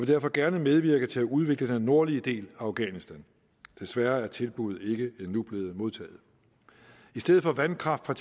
derfor gerne medvirke til at udvikle den nordlige del af afghanistan desværre er tilbuddet endnu ikke blevet modtaget i stedet for vandkraft fra